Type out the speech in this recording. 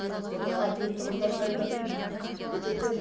бұрын ағашпен тығындап ілаждап өтетін едік